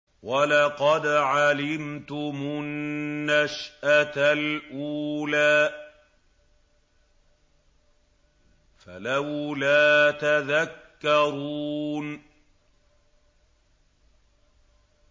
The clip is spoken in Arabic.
وَلَقَدْ عَلِمْتُمُ النَّشْأَةَ الْأُولَىٰ فَلَوْلَا تَذَكَّرُونَ